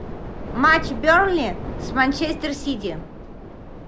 матч бернли с манчестер сити